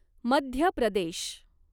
Madhya Pradesh